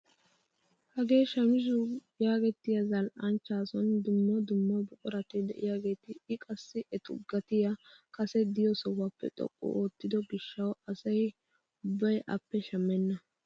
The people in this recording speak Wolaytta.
hagee shamisuu yaagettiyaa zal"anchchaa sooni dumma dumma buqurati de'iyaageta i qassi etu gatiyaa kase de'iyoo sohuwaappe xoqqu oottido giishshawu asa ubbay appe shammena!